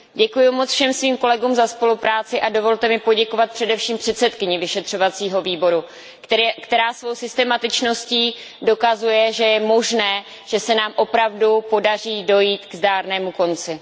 Děkuji moc všem svým kolegům za spolupráci a dovolte mi poděkovat především předsedkyni vyšetřovacího výboru, která svou systematičností dokazuje, že je možné, že se nám opravdu podaří dojít k zdárnému konci.